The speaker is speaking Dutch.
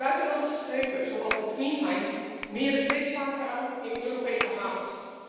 Buitenlandse schepen, zoals de Queen Hind, meren steeds vaker aan in Europese havens.